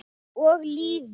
Og lífið.